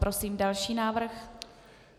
Prosím další návrh.